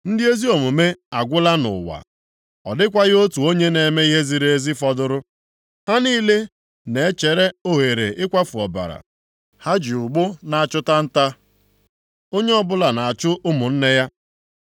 Ndị ezi omume agwụla nʼụwa, ọ dịkwaghị otu onye na-eme ihe ziri ezi fọdụrụ. Ha niile na-echere oghere ịkwafu ọbara, ha ji ụgbụ na-achụta nta, onye ọbụla na-achụ ụmụnne ya.